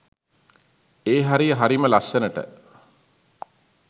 ඒ හරිය හරිම ලස්සනට